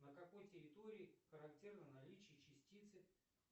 на какой территории характерно наличие частицы